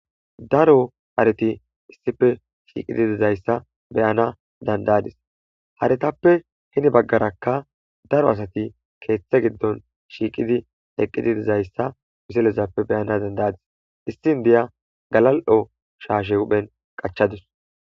daro hareti issife shiiqidi dizayssa beyana dandayadis haretappe hini baggarakka daro asati keeththe giddon shiiqidi eqidi dizayssa miselezappe beyana dandayadis issi indiya galal'o shaashe huphen qachadus